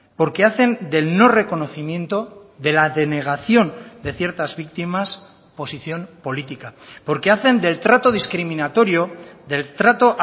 porque hacen del no reconocimiento de la denegación de ciertas víctimas posición política porque hacen del trato discriminatorio del trato